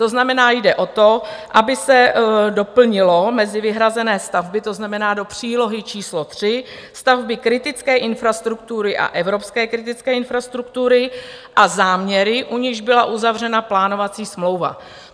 To znamená, jde o to, aby se doplnilo mezi vyhrazené stavby, to znamená do přílohy číslo 3, stavby kritické infrastruktury a evropské kritické infrastruktury a záměry, u nichž byla uzavřena plánovací smlouva.